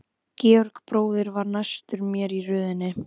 Georg bróðir var næstur mér í röðinni.